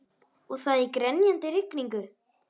Og það í grenjandi rigningu!